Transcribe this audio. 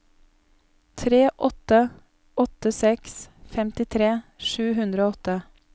tre åtte åtte seks femtitre sju hundre og åtte